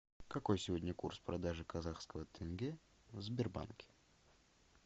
какой сегодня курс продажи казахского тенге в сбербанке